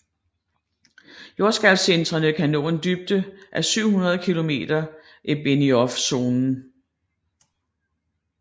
Jordskælvcentrene kan nå en dybde af 700 km i Benioffzonen